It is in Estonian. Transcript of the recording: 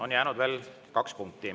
On jäänud veel kaks punkti.